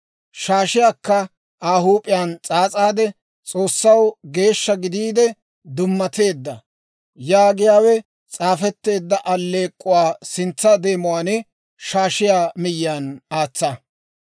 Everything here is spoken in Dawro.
Shaashiyaakka Aa huup'iyaan s'aas'aade, ‹S'oossaw geeshsha gidiide dummatteedda› yaagiyaawe s'aafetteedda alleek'k'uwaa sintsa demuwaan shaashiyaa miyiyaan aatsa.